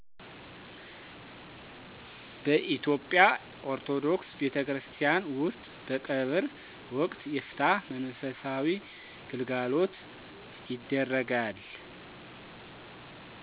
በኢትዮጵያ ኦርቶዶክስ ቤተክርስቲያን ውስጥ በቀብር ወቅት የፍትሀት መንፈሳዊ ግልጋሎት ይደረጋል።